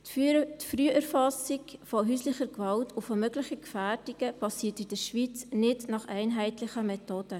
Die Früherfassung von häuslicher Gewalt und möglicher Gefährdungen geschieht in der Schweiz nicht nach einheitlichen Methoden.